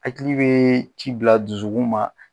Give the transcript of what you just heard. Hakili bɛ ci bila dusukun ma